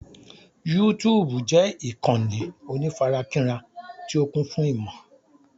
Yútúúbù jẹ́ ìkànnì onífarakínra tí ó kún fún ìmò.